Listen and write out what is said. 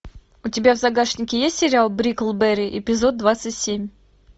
у тебя в загашнике есть сериал бриклберри эпизод двадцать семь